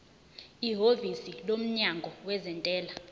ihhovisi lomnyango wezentela